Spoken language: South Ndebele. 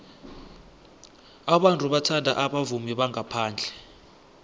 abantu bathanda abavumi bangaphandle